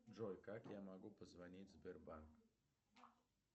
джой как я могу позвонить в сбербанк